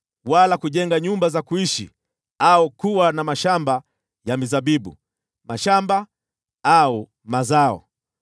wala kujenga nyumba za kuishi au kuwa na mashamba ya mizabibu, mashamba au mazao.